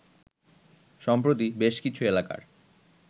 সম্প্রতি বেশ কিছু এলাকার